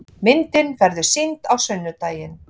Myndin verður sýnd á sunnudaginn.